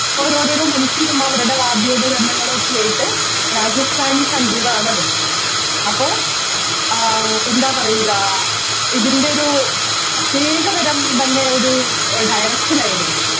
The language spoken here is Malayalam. ഓരോരോരോ മനുഷ്യരും അവരുടെ വാദ്യോപകരണങ്ങളൊക്കെയായിട്ട് രാജസ്ഥാനി സംഗീതമാണത് അപ്പൊ ആഹ് എന്ത പറയുക ഇതിൻ്റെയൊരു പ്രത്യേകതരം തന്നെയൊരു Direction ആയിരുന്നു